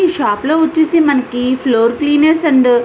ఈ షాప్ లో వచ్చేసి మనికి ఫ్లోర్ క్లీనర్స్ అండ్ --